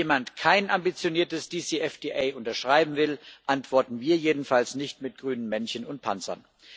Wenn jemand kein ambitioniertes DCFTA unterschreiben will, antworten wir jedenfalls nicht mit grünen Männchen und Panzern.